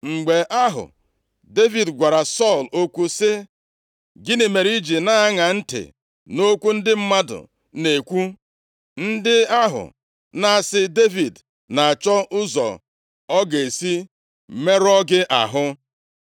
Mgbe ahụ Devid gwara Sọl okwu sị, “Gịnị mere i ji na-aṅa ntị nʼokwu ndị mmadụ na-ekwu, ndị ahụ na-asị Devid na-achọ ụzọ ọ ga-esi merụọ gị ahụ?